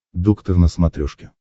доктор на смотрешке